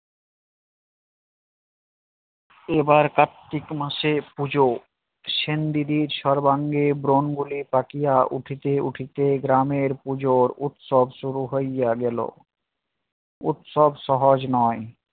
এবার কার্তিক মাসে পুজো সেনদিদির সর্বাঙ্গে ব্রংগলে বাকিয়া উঠিতে উঠিতে গ্রামের পুজোর উৎসব শুরু হইয়া গেল। উৎসব সহজ নয়